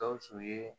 Gawusu ye